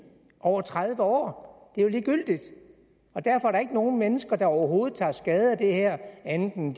over tredive år det er jo ligegyldigt og derfor er der ikke nogen mennesker der overhovedet tager skade af det her andet end